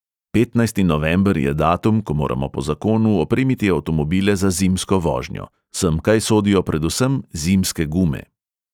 Petnajsti november je datum, ko moramo po zakonu opremiti avtomobile za zimsko vožnjo; semkaj sodijo predvsem zimske gume.